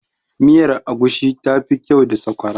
miyar agushi tafi kyau da sakwara